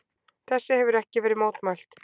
Þessu hefir ekki verið mótmælt.